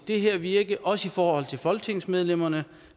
det her virke også i forhold til folketingsmedlemmerne